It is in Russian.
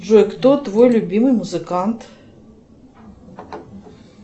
джой кто твой любимый музыкант